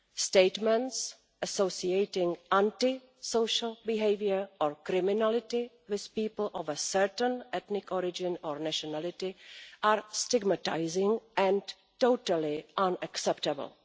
Statements associating anti social behaviour or criminality with people of a certain ethnic origin or nationality are stigmatising and totally unacceptable.